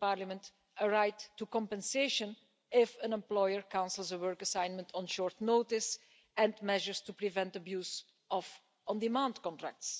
Parliament, a right to compensation if an employer cancels a work assignment on short notice and measures to prevent abuse of on-demand contracts.